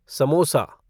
samosa